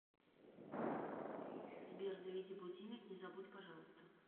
сбер заведи будильник не забудь пожалуйста